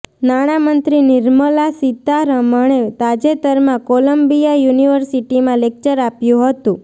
નાણામંત્રી નિર્મલા સીતારમણે તાજેતરમાં કોલંબિયા યૂનિવર્સિટીમાં લેક્ચર આપ્યુ હતું